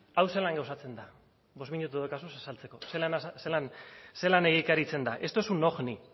hau zelan gauzatzen da bost minutu dauzkazu azaltzeko zelan egikaritzen da esto es un ojni